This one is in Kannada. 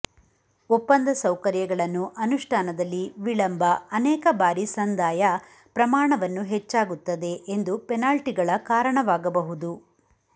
ಒಪ್ಪಂದ ಸೌಕರ್ಯಗಳನ್ನು ಅನುಷ್ಠಾನದಲ್ಲಿ ವಿಳಂಬ ಅನೇಕ ಬಾರಿ ಸಂದಾಯ ಪ್ರಮಾಣವನ್ನು ಹೆಚ್ಚಾಗುತ್ತದೆ ಎಂದು ಪೆನಾಲ್ಟಿಗಳ ಕಾರಣವಾಗಬಹುದು